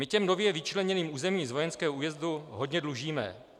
My těm nově vyčleněným územím z vojenského újezdu hodně dlužíme.